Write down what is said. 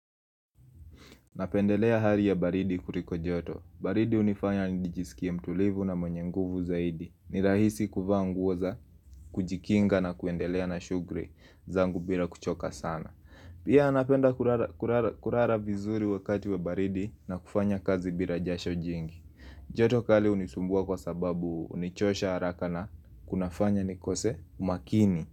Napendelea hali ya baridi kuriko joto. Baridi hunifanya nidjisikie mtulivu na mwenye nguvu zaidi. Ni rahisi kuvaa nguo za, kujikinga na kuendelea na shugri zangu bila kuchoka sana. Pia napenda kurara kurara kurara vizuri wakati wa baridi na kufanya kazi bila jasho jingi. Joto kali hunisumbua kwa sababu hunichosha haraka na kunafanya nikose umakini.